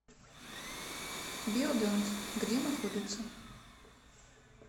биодент где находится